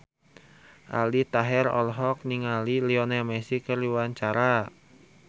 Aldi Taher olohok ningali Lionel Messi keur diwawancara